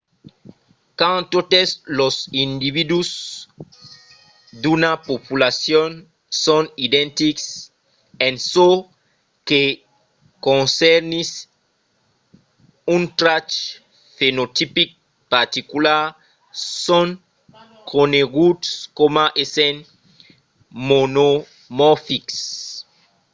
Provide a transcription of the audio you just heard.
quand totes los individus d’una populacion son identics en çò que concernís un trach fenotipic particular son coneguts coma essent monomorfics